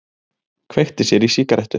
Kveikti sér í sígarettu.